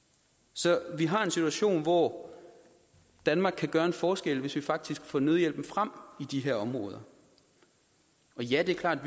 så vi har en situation hvor danmark kan gøre en forskel hvis vi faktisk får nødhjælpen frem i de her områder ja det er klart